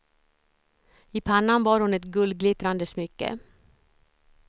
I pannan bar hon ett guldglittrande smycke.